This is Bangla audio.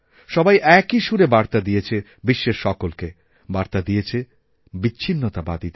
সবাই একই সুরে বার্তাদিয়েছে বিশ্বের সকলকে বার্তা দিয়েছে বিচ্ছিন্নতাবাদীদের